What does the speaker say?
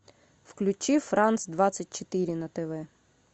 включи франс двадцать четыре на тв